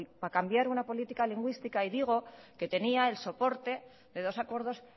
para cambiar una política lingüística y digo que tenía el soporte de dos acuerdos